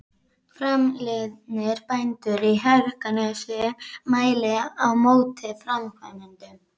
Framliðnir bændur í Hegranesi mæli á móti framkvæmdunum.